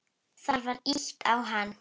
Það var ýtt á hann.